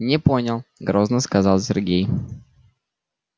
не понял грозно сказал сергей